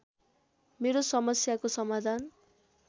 मेरो समस्याको समाधान